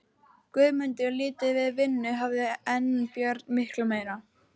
Guðmundur lítið við vinnu hafður en Björn miklu meira.